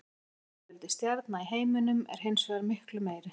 Heildarfjöldi stjarna í heiminum er hins vegar miklu meiri.